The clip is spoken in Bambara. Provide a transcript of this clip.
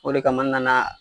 O de kama nana.